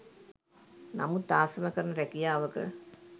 නමුත් ආසම කරන රැකියාවක